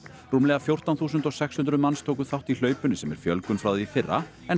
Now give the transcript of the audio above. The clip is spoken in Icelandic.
rúmlega fjórtán þúsund sex hundruð manns tóku þátt í hlaupinu sem er fjölgun frá því í fyrra en